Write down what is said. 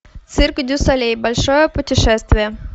цирк дю солей большое путешествие